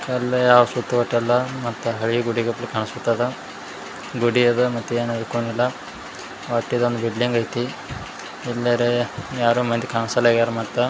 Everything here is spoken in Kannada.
ಗುಡಿ ಅದ ಒಟ್ಟಿದ್ ಒಂದ್ ಬಿಡ್ಲಿನ್ಗ್ ಅಯ್ತಿ ಎಲ್ಲರ ಯಾರು ಮಂದಿ ಕಸ್ಲ್ಯಾರ್ ಅಗ್ಯಾರ್ ಮತ್ತ--